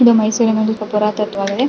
ಇದು ಮೈಸೂರಿನಲ್ಲಿ .]